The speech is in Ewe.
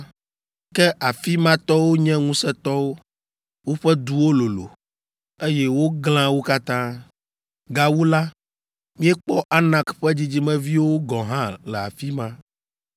Ke afi ma tɔwo nye ŋusẽtɔwo. Woƒe duwo lolo, eye woglã wo katã. Gawu la, míekpɔ Anak ƒe dzidzimeviwo gɔ̃ hã le afi ma!